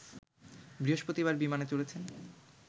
বৃহস্পতিবার বিমানে চড়েছেন